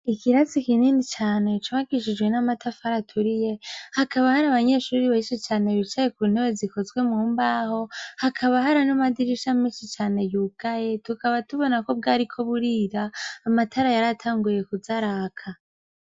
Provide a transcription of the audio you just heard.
Ikirasi kinini cane c'ubakishijwe n'amatafari aturiye, hakaba hari abanyeshure bicaye ku ntebe zikozwe mu mbaho, hakaba hari n'amadirisha menshi cane yugaye, tukaba tubona ko bwariko burira, amatara yaratanguye kuza araka.